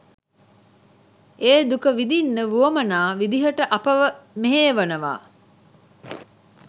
ඒ දුක විඳින්න වුවමනා විදිහට අපව මෙහෙයවනවා.